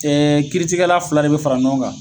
Ɛɛ Kiritigɛla fila de be fara ɲɔgɔn kan